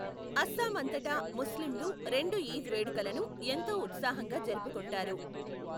అస్సాం అంతటా ముస్లింలు రెండు ఈద్ వేడుకలను ఎంతో ఉత్సాహంగా జరుపుకుంటారు.